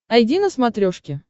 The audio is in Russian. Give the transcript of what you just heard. айди на смотрешке